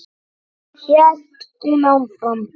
hélt hún áfram.